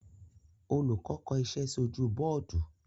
Olùkọ́ kọ iṣẹ́ sí ojú bọ́ọ́dù.